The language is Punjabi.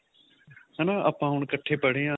ਹਨਾ ਆਪਾਂ ਹੁਣ ਇੱਕਠੇ ਪੜੇ ਆ